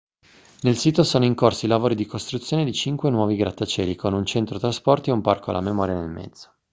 nel sito sono in corso i lavori di costruzione di cinque nuovi grattacieli con un centro trasporti e un parco alla memoria nel mezzo